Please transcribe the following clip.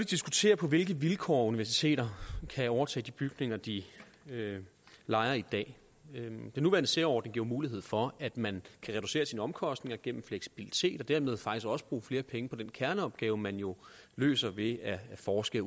diskutere på hvilke vilkår universiteter kan overtage de bygninger de lejer i dag den nuværende særordning giver mulighed for at man kan reducere sine omkostninger gennem fleksibilitet og dermed faktisk også bruge flere penge på den kerneopgave man jo løser ved at forske